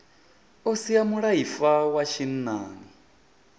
o sia mulaifa wa tshinnani